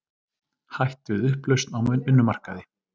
Hætt við upplausn á vinnumarkaði